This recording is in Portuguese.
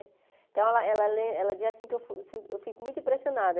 Então, ela ela ela len ela diz assim que eu fi eu fi eu fico muito impressionada.